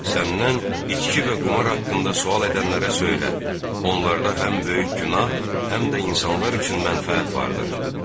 Səndən içki və qumar haqqında sual edənlərə söylə: Onlarda həm böyük günah, həm də insanlar üçün mənfəət vardır.